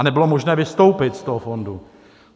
A nebylo možné vystoupit z toho fondu.